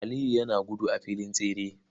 Aliyu yana gudu a filin tsere.